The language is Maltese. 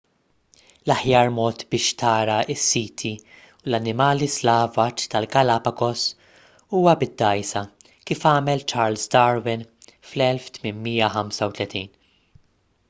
l-aħjar mod biex tara s-siti u l-annimali slavaġ tal-galapagos huwa bid-dgħajsa kif għamel charles darwin fl-1835